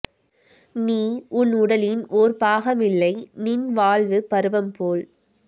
நீ உன் உடலின் ஓர் பாகமில்லை நின் வாழ்வுப் பருவம் போல்